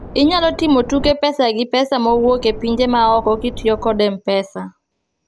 inyalo timo tuk pesa gi pesa mowuok e pinje maoko kitiyo kod mpesa